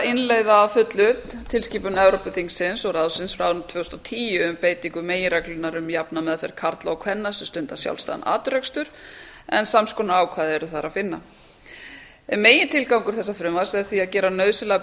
innleiða að fullu tilskipun evrópuþingsins og ráðsins frá árinu tvö þúsund og tíu um beitingu meginreglunnar um jafna meðferð karla og kvenna sem stunda sjálfstæðan atvinnurekstur en sams konar ákvæði er þar að finna megintilgangur þessa frumvarps er því að gera nauðsynlegar